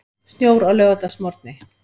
Snjór á laugardagsmorgni